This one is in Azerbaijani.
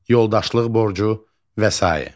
Yoldaşlıq borcu və sair.